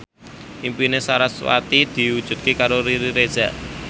impine sarasvati diwujudke karo Riri Reza